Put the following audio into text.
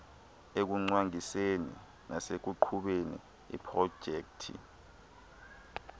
ekucwangciseni nasekuqhubeni iiprojekthi